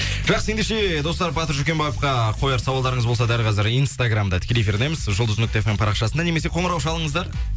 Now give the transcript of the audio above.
жақсы ендеше достар батыр жүкембаевка қояр сауалдарыңыз болса дәл қазір инстаграмда тікелей эфирдеміз жұлдыз нүкте эф эм парақшасында немесе қоңырау шалыңыздар